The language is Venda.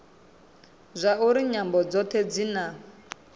zwauri nyambo dzothe dzi na